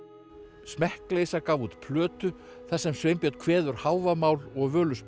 smekkleysa gaf út plötu þar sem Sveinbjörn kveður Hávamál og Völuspá